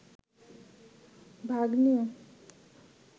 ভাগ্নি